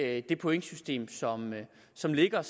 at det pointsystem som ligger er